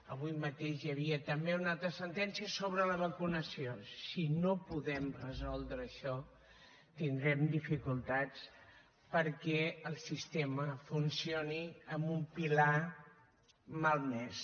avui mateix hi havia també una altra sentència sobre la vacunació si no podem resoldre això tindrem dificultats perquè el sistema funcioni amb un pilar malmès